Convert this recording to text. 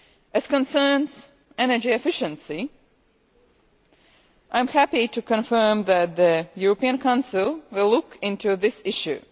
As regards energy efficiency, I am happy to confirm that the European Council will look into this issue.